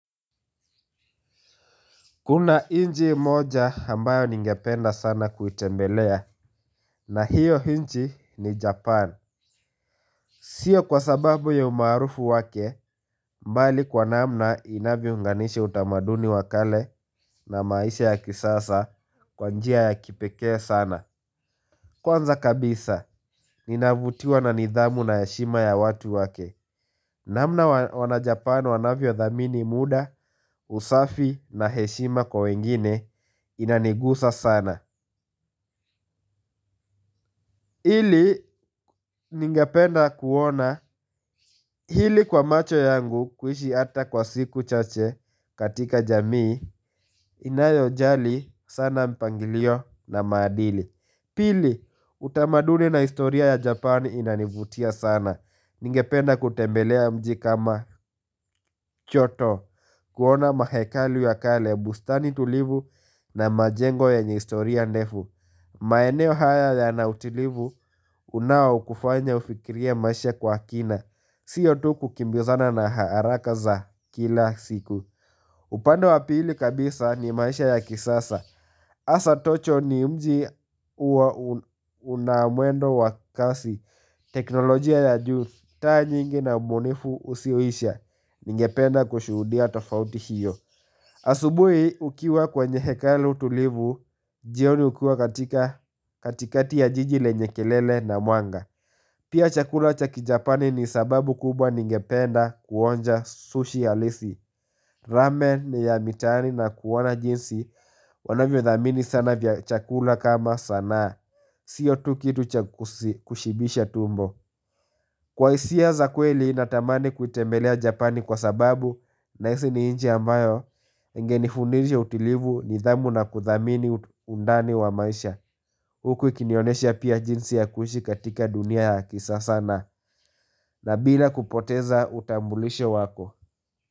Kuna nchi moja ambayo ningependa sana kuitembelea, na hiyo nchi ni Japan. Sio kwa sababu ya umaarufu wake, mbali kwa namna inavyounganisha utamaduni wa kale na maisha ya kisasa kwa njia ya kipeke sana. Kwanza kabisa, ninavutiwa na nidhamu na heshima ya watu wake. Namna wana-Japan wanavyo dhamini muda, usafi na heshima kwa wengine inanigusa sana. Ili ningependa kuona hili kwa macho yangu kuishi hata kwa siku chache katika jamii inayojali sana mpangilio na maadili. Pili utamaduni na historia ya Japan inanivutia sana. Ningependa kutembelea mji kama Kyoto kuona mahekalu ya kale bustani tulivu na majengo yenye historia ndefu. Maeneo haya yanautilivu unao wa kufanya ufikirie maisha kwa kina Sio tu kukimbizana na haraka za kila siku upande wa pili kabisa ni maisha ya kisasa Hasa tocho ni mji huwa unamwendo wa kasi teknolojia ya juu taa nyingi na ubunifu usioisha Ningependa kushuhudia tofauti hiyo Asubuhi ukiwa kwenye hekalu tulivu jioni hukuwa katika katikati ya jiji lenye kelele na mwanga Pia chakula cha ki-japani ni sababu kubwa ningependa kuonja sushi halisi Ramen ni ya mitaani na kuona jinsi Wanavyodhamini sana vya chakula kama sanaa Sio tu kitu cha kushibisha tumbo Kwa hisia za kweli natamani kutembelea japani kwa sababu Nahisi ni nchi ambayo Ingenifundisha utulivu, nidhamu na kuthamini undani wa maisha Huku ikinionyesha pia jinsi ya kuishi katika dunia ya kisasa na na bila kupoteza utambulishe wako.